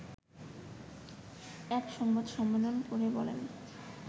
এক সংবাদ সম্মেলন করে বলেন